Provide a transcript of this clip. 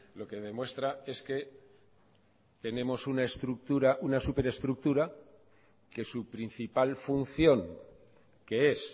lo que demuestra es que tenemos una estructura una superestructura que su principal función que es